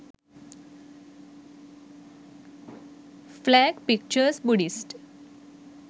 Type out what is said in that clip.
flag pictures buddihst